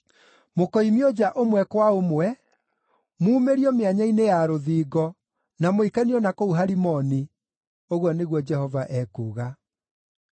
Mũkoimio nja ũmwe kwa ũmwe, muumĩrio mĩanya-inĩ ya rũthingo, na mũikanio na kũu Harimoni,” ũguo nĩguo Jehova ekuuga.